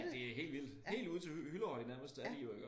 Det helt vildt helt ude til Hyllehøj nærmest er de jo iggå